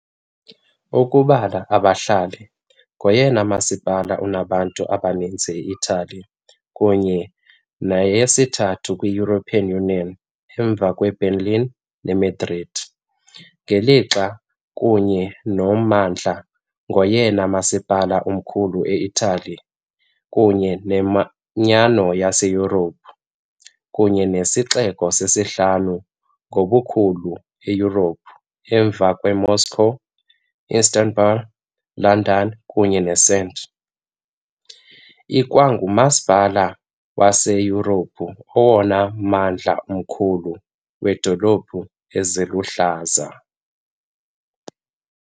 Ukubala abahlali, ngoyena masipala unabantu abaninzi eItali kunye neyesithathu kwi-European Union emva kweBerlin neMadrid, ngelixa, kunye nommandla, ngoyena masipala mkhulu eItali kunye neManyano yaseYurophu, kunye nesixeko sesihlanu ngobukhulu eYurophu emva kweMoscow, Istanbul, London kunye ne St. Ikwangumasipala waseYurophu owona mmandla mkhulu weendawo eziluhlaza.